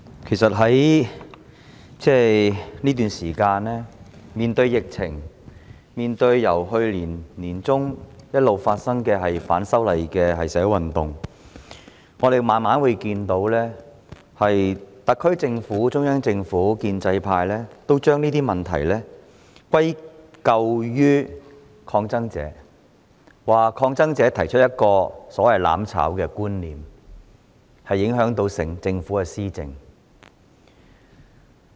主席，在過去一段時間，面對疫情及由去年年中一直進行的反修例社會運動，可以逐漸看到特區政府、中央政府和建制派將種種問題歸咎於抗爭者，指抗爭者提出"攬炒"之說，影響政府施政。